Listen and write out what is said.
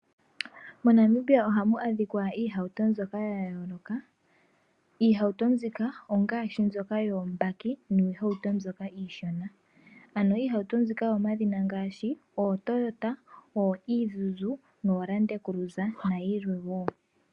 MoNamibia ohamu adhikwa iihauto mbyoka yayooloka iihauto mbika ongaashi, mbyoka yoombaki niihauto mbyoka iishona, ano iihauto mbika oyomadhina ngaashi, ootoyota, ooizuzu noolandcruize nayilwe wo.